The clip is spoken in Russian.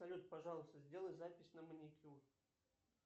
салют пожалуйста сделай запись на маникюр